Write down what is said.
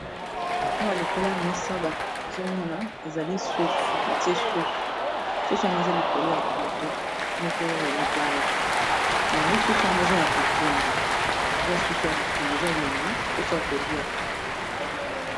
Awa likolo mesa bazo mona ezali soso batie soso, soso yango eza likolo ya plateau moko ya libaya. Yango soso yango eza ya kotumba eza soso ya kotumba eza elengi mposo kolia.